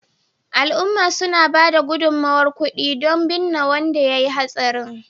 al’umma suna ba da gudummawar kudi don binne wanda ya yi hatsarin